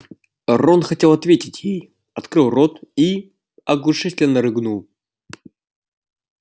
рон хотел ответить ей открыл рот и оглушительно рыгнул